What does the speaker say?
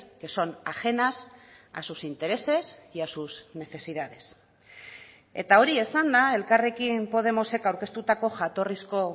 que son ajenas a sus intereses y a sus necesidades eta hori esanda elkarrekin podemosek aurkeztutako jatorrizko